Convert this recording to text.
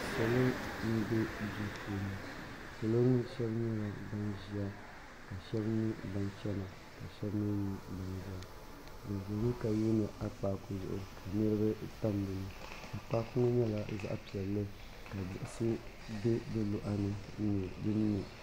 salo n bɛ so puuni salo ŋɔ shɛbi nyɛla ban ʒɛya ka shɛbi nyɛ ban China ka shɛbi ni nyɛ ban zaya be ʒɛmi ka yuni akpaku zuɣ niriba tam dini akpaku ŋɔ nyɛla zaɣ' piɛli ka digisi bɛ di luɣili n nyɛ